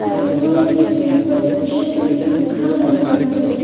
Sofa के ऊपर भी रखा गया है।